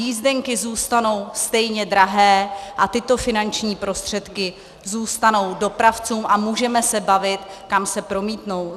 Jízdenky zůstanou stejně drahé a tyto finanční prostředků zůstanou dopravcům a můžeme se bavit, kam se promítnou.